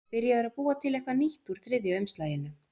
Hann er byrjaður að búa til eitthvað nýtt úr þriðja umslaginu.